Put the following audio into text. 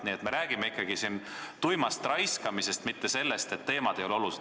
Nii et me räägime ikkagi siin tuimast raiskamisest, mitte sellest, et teemad ei ole olulised.